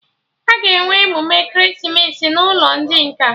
Aga enwe emume ekeresimesi n'ụlọ ndị nkà